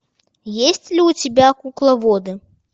есть ли у тебя кукловоды